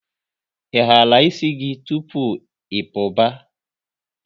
Ị hara ịsị gị tụpụ ị puba?